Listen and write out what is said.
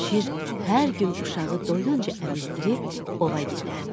Şir hər gün uşağı doyunca əmizdirib ova gedərdi.